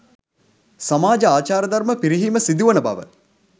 සමාජ ආචාර ධර්ම පිරිහීම සිදුවන බව